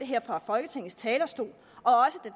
her fra folketingets talerstol